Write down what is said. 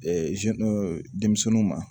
denmisɛnninw ma